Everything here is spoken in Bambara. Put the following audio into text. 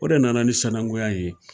O de nana ni sananguya ye